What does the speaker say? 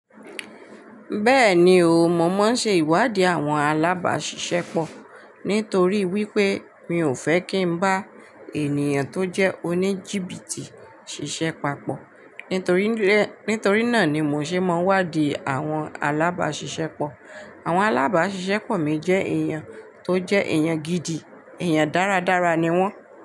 Bẹ́ẹ̀ni o, mo máa ń ṣe ìwádìí àwọn alábáṣiṣẹ́ pọ̀. Nítorí wípé mi ò fẹ́ kí n bá ènìyàn tó jẹ́ oníjìbìtì ṣiṣẹ́ papọ̀. Nítorí e, nítorí náà ni mò ṣe máa ń wádìí àwọn alábáṣiṣẹ́ pọ̀. Àwọn alábáṣiṣẹ́ pọ̀ mi jẹ́ èèyàn tó jẹ́ èèyàn gidi, èèyàn dáradára ni wọ́n.